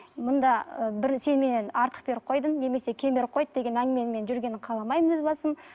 мұнда ы бір сен менен артық беріп қойдың немесе кем беріп қойды деген әңгіменің мен жүргенін қаламаймын өз басым